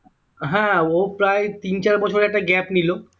হ্যাঁ ও প্রায় তিন চার বছর একটা gap নিল